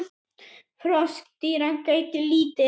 Froskdýra gætti lítið.